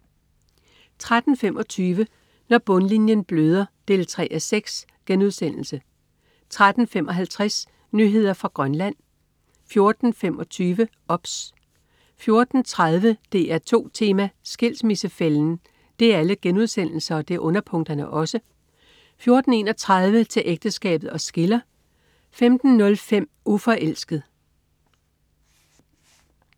13.25 Når bundlinjen bløder 3:6* 13.55 Nyheder fra Grønland* 14.25 OBS* 14.30 DR2 Tema: Skilsmissefælden* 14.31 Til ægteskabet os skiller* 15.05 Uforelsket*